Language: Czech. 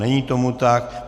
Není tomu tak.